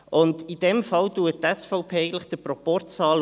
In diesem Fall schaut die SVP eigentlich den Proporz an.